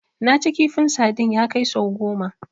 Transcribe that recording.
Naci kifin sadin ya kai sau goma